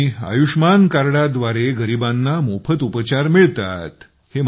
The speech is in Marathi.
आणि आयुष्मान कार्ड द्वारे गरीबांना मोफत उपचार मिळतात